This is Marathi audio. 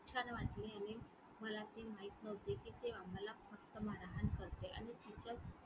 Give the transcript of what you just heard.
छान वाटले आणि मला ते माहित नव्हते कि ते आम्हाला फक्त करते आणि,